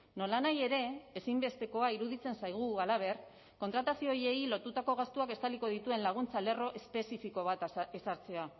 nolanahi ere ezinbestekoa iruditzen zaigu halaber kontratazio horiei lotutako gastuak estaliko dituen laguntza lerro espezifiko bat ezartzea